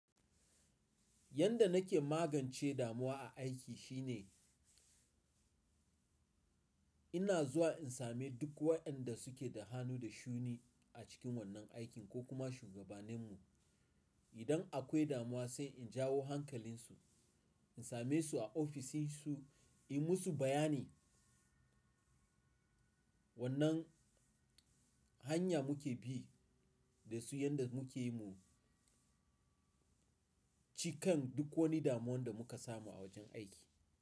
Yanda nake magance damuwa a aiki shine ina zuwa in same duk waɗanda suke da hannu da shuni a cikin wannan aikin ko kuma shugabaninmu. Idan akwai damuwa sai in jawo hankalinsu, in same su a ofishinsu, in musu bayani wannan hanya muke bi da su yadda muke yi mu cikan duk wani damuwan da muka samu a wajen aiki.